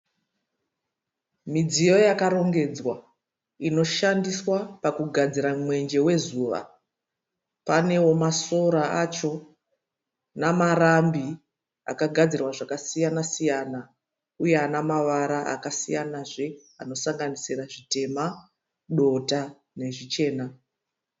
Midziyo yakarongedzwa inoshandiswa pakugadzira mwenje wezuva. Paneo masora acho namarambi akagadzirwa zvakasiyana siyana uye anamavara akasiyanazve anosanganisira zvitema dota, nezvichena.